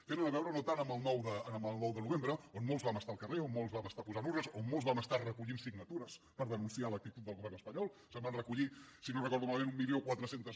tenen a veure no tant amb el nou de novembre on molts vam estar al carrer on molts vam estar posant urnes on molts vam estar recollint signatures per denunciar l’actitud del govern espanyol se’n van recollir si no recordo malament mil quatre cents